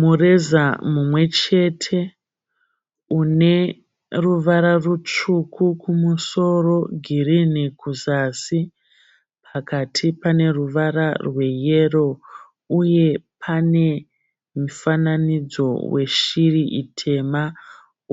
Mureza mumwe chete une ruvara rutsvuku kumusoro, girinhi kuzasi pakati pane ruvara rweyero uye pane mifananidzo yeshiri itema